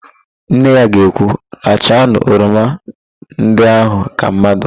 Nne ya ga ekwu, rachanu oroma ndị ahụ ka mmadụ"!